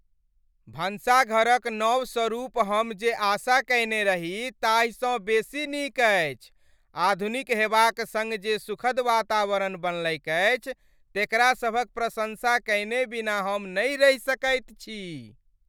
भनसाघरक नव स्वरूप हम जे आशा कएने रही ताहिसँ बेसी नीक अछि, आधुनिक हेबाक सङ्ग जे सुखद वातावरण बनलैक अछि तेकरा सभक प्रशंसा कएने बिना हम नहि रहि सकैत छी।